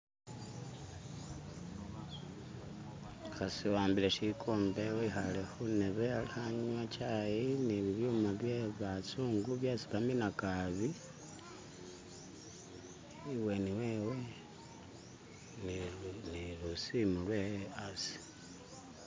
umuhasi wawambile shikombe wihale hundebe aliho anywa chayi ni byuma byebazungu byesi baminakabi ibweni wewe ni lusimu lwewe asi